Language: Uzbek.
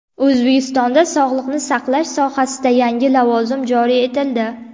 O‘zbekistonda sog‘liqni saqlash sohasida yangi lavozim joriy etildi.